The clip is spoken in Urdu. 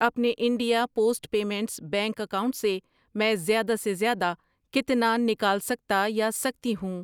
اپنے India post payments bank account سے میں زیادہ سے زیادہ کتنا نکال سکتا یا سکتی ہوں؟